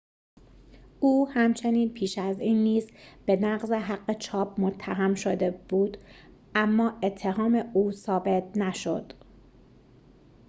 او همچنین پیش از این نیز به نقض حق چاپ متهم شده بود اما اتهام او ثابت نشد